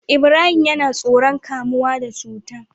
Ibrahim yAna tsoron kamuwa da cuta